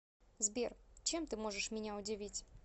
сбер чем ты можешь меня удивить